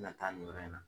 Na taa nin yɔrɔ in na